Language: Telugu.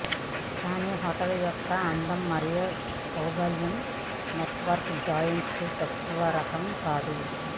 కానీ హోటల్ యొక్క అందం మరియు సౌలభ్యం నెట్వర్క్ జెయింట్స్ తక్కువరకం కాదు